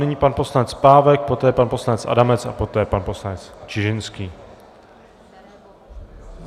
Nyní pan poslanec Pávek, poté pan poslanec Adamec a poté pan poslanec Čižinský.